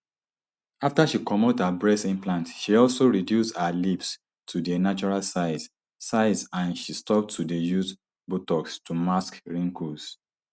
afta she comot her breast implants she also reduce her lips to dia natural size size and she stop to dey use botox to mask wrinkles